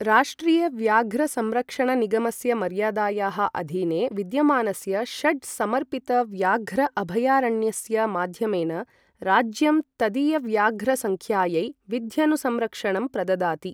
राष्ट्रिय व्याघ्र संरक्षण निगमस्य मर्यादायाः अधीने विद्यमानस्य षड् समर्पितव्याघ्र अभयारण्यस्य माध्यमेन राज्यं तदीयव्याघ्रसङ्ख्यायै विध्यनुसंरक्षणं प्रददाति।